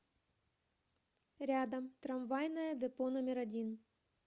рядом трамвайное депо номер один